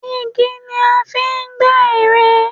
Igi ni a fi ń gbẹ́ ère igi.